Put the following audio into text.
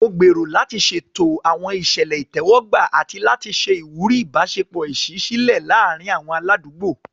Mo gbèrò láti ṣètò àwọn ìṣẹ̀lẹ̀ ìtẹ́wọ́gbà àti láti ṣe ìwúrí ìbáṣepọ̀ ìṣísílẹ̀ láàárín àwọn aládùúgbò.